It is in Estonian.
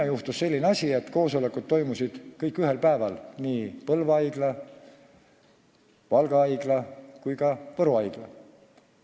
– juhtus selline asi, et koosolekud Põlva haiglas, Valga haiglas ja ka Võru haiglas toimusid kõik ühel päeval.